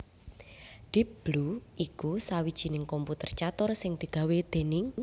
Deep Blue iku sawijining komputer catur sing digawé déning